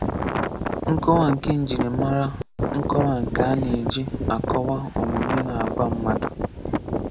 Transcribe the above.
Nkọwa nke Njirimara Nkọwa Nke a na-eji akọwaa omume na àgwà mmadụ.